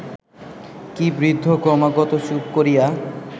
কি বৃদ্ধ ক্রমাগত চুপ করিয়া